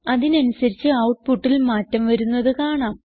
അതിനനുസരിച്ച് ഔട്ട്പുട്ടിൽ മാറ്റം വരുന്നത് കാണാം